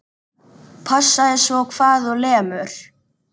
Passaðu svo hvar þú lemur.